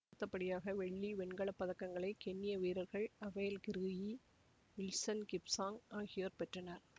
அடுத்தபடியாக வெள்ளி வெண்கல பதக்கங்களை கென்ய வீரர்கள் அபெல் கிரூயி வில்சன் கிப்சாங் ஆகியோர் பெற்றனர்